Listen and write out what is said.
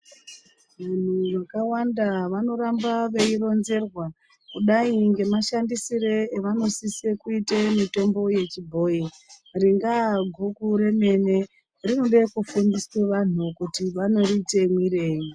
Vanthu vakawanda vanoramba veironzerwa kudai ngemashandisire avanosisa kuite mitombo yechibhoyi ringaa guku remene rinode kufundisa vanthu kuti vanoriite mwirei.